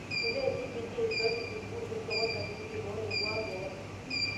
Imbaa e TPD: Eishooki sukuul esekondari enkikoo naing'ua boo